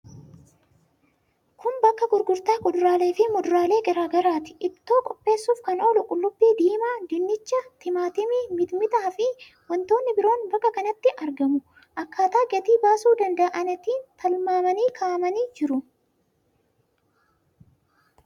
Kun bakka gurgurtaa kuduraalee fi muduraalee garaa garaati. Ittoo qopheessuuf kan oolu qullubbii diimaa, dinnicha, timaatimii, mixmixaa fi wantoonni biroon bakka kanatti argamu. Akkaataa gatii baasuu danda'aniitiin tilmaamamanii kaa'amanii jiru.